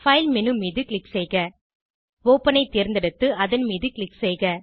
file menu மீது click செய்க open ஐ தேர்ந்தெடுத்து அதன் மீது க்ளிக் செய்க